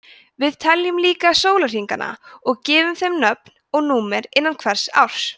við teljum líka sólarhringana og gefum þeim nöfn og númer innan hvers árs